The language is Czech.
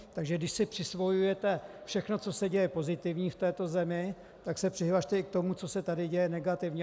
Takže když si přisvojujete všechno, co se děje pozitivního v této zemi, tak se přihlaste i k tomu, co se tady děje negativního.